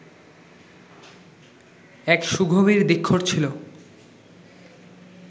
এক সুগভীর ধিক্ষর ছিল।